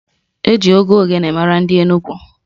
Eji egwu ogene mara ndị Enugwu.